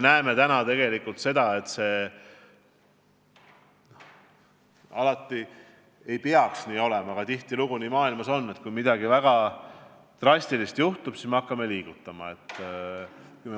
See ei tohiks nii olla, aga tihtilugu me näeme, et kui maailmas juhtub midagi väga drastilist, alles siis me hakkame liigutama.